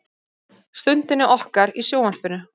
Stundinni okkar í sjónvarpinu.